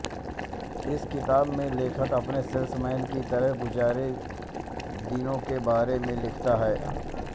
इस किताब में लेखक अपने सेलसमैन की तरह गुज़ारे दिनों के बारे में लिखता है